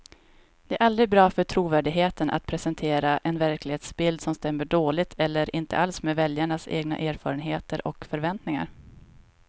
Det är aldrig bra för trovärdigheten att presentera en verklighetsbild som stämmer dåligt eller inte alls med väljarnas egna erfarenheter och förväntningar.